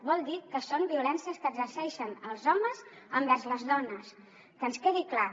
vol dir que són violències que exerceixen els homes envers les dones que ens quedi clar